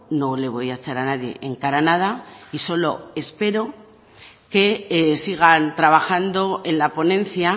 no le voy a echar a nadie en cara nada y solo espero que sigan trabajando en la ponencia